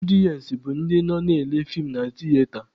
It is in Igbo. Ọdịensị bụ ndị nọ na-ele feem na tiyeta.